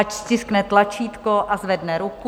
Ať stiskne tlačítko a zvedne ruku.